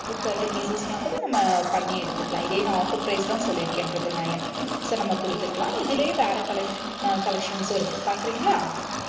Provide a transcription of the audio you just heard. thirty pieces னா கூட நம்ம பண்ணி எடுத்துக்கலாம். இதே நான் offer price தான் சொல்லி இருக்கேன் triple nine, so நம்ம கொடுத்துக்கலாம். இதிலேயே வேற collecs~ collections ம் இருக்கு பார்க்கிறீங்களா